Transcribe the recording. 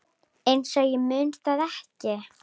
Einsog ég muni það ekki!